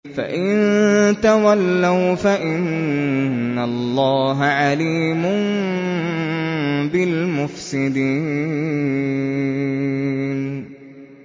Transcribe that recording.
فَإِن تَوَلَّوْا فَإِنَّ اللَّهَ عَلِيمٌ بِالْمُفْسِدِينَ